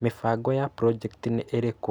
Mibango ya brojecti nĩ ĩrĩkũ